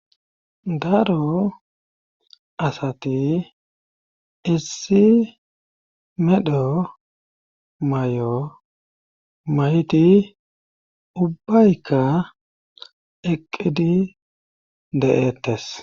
Daro asati issi medho may7o mayti ubbaykka eqqidi de7ettes.